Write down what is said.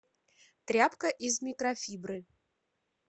тряпка из микрофибры